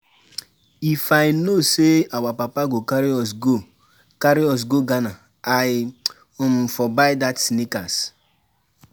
If I know say our papa go carry us go carry us go Ghana I um for buy dat sneakers